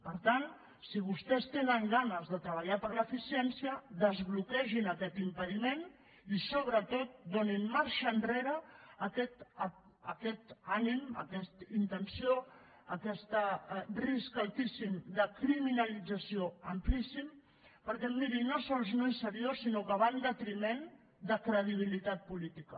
per tant si vostès tenen ganes de treballar per l’eficiència desbloquegin aquest impediment i sobretot donin marxa enrere a aquest ànim a aquesta intenció a aquest risc altíssim de criminalització amplíssima perquè miri no sols no és seriós sinó que va en detriment de credibilitat política